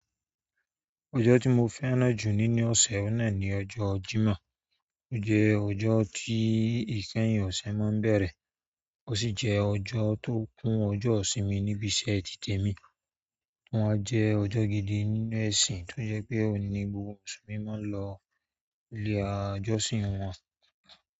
Ọjọ́ tí mo fẹ́ràn jù nínú ọ̀sẹ̀ òun ọ̀nà ni ọjọ́ Jímọ̀. Ó jẹ́ ọjọ́ tí ìkẹyìn ọ̀sẹ̀ máa ń bẹ̀rẹ̀, ó sì jẹ́ ọjọ́ tó kún ọjọ́ ìsinmi níbi iṣẹ́ ti tèmi. Wọ́n jẹ́ ọjọ́ gidi nínú ẹ̀sìn tó jẹ́ pé òun ni gbogbo mùsùlùmí máa ń lọ ilé ajọ́sìn wọn.